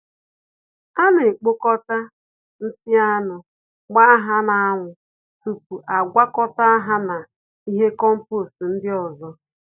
Ana ekpokọta nsị anụ, gbaa ha na anwụ tupu agwakọta ha na ihe kompost ndị ọzọ